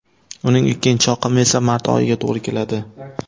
Uning ikkinchi oqimi esa mart oyiga to‘g‘ri keladi.